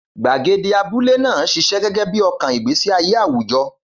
Gbàgede abúlé náà ṣiṣẹ́ gẹ́gẹ́ bí ọkàn ìgbésí ayé àwùjọ.